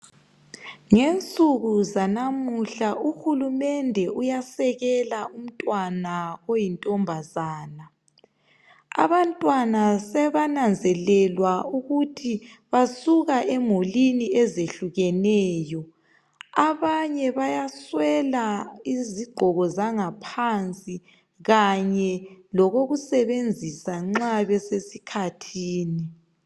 Ngensuku zanamuhla uhulumende uyasekela umntwana oyintombazana abantwana sebananzelelwa ukuthi basuka emulini ezehlukeneyo abanye bayaswela izigqoko zangaphansi kanye lokokusebenzisa nxa besesikhathini.